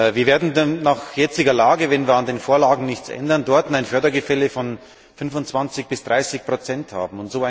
Wir werden nach jetziger Lage, wenn wir an den Vorlagen nichts ändern, dort ein Fördergefälle von 25 bis 30 haben.